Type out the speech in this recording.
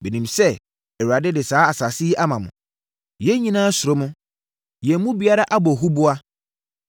“Menim sɛ Awurade de saa asase yi ama mo. Yɛn nyinaa suro mo. Yɛn mu biara abɔ huboa.